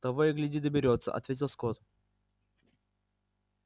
того и гляди доберётся ответил скотт